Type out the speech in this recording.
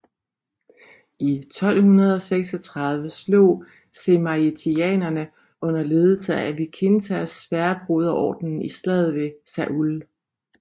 I 1236 slog žemaitijanerne under ledelse af Vykintas Sværdbroderordenen i slaget ved Saule